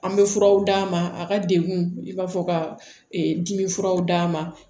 An bɛ furaw d'a ma a ka degun i b'a fɔ ka dimi furaw d'a ma